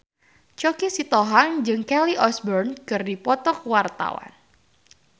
Choky Sitohang jeung Kelly Osbourne keur dipoto ku wartawan